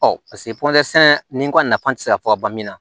Ɔ ni kɔni nafa tɛ se ka fɔ ka ban min na